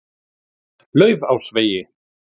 Laufásvegi